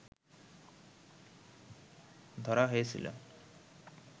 ধরা হয়েছিল